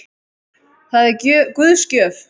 Það er Guðs gjöf.